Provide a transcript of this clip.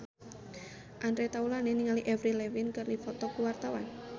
Andre Taulany jeung Avril Lavigne keur dipoto ku wartawan